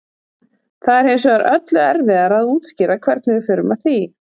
það er hins vegar öllu erfiðara að útskýra hvernig við förum að því